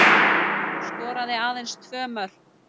Hún skoraði aðeins tvö mörk